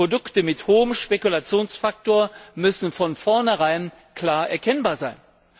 Produkte mit hohem Spekulationsfaktor müssen von vornherein klar erkennbar sein.